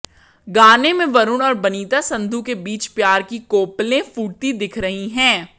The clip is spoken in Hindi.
गाने में वरुण और बनिता संधू के बीच प्यार की कोपलें फूटती दिख रही हैं